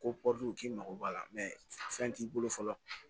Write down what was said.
Ko k'i mago b'a la fɛn t'i bolo fɔlɔ